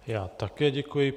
Já také děkuji.